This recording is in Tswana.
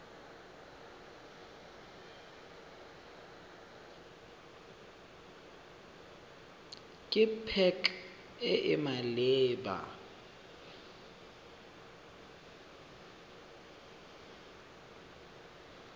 ke pac e e maleba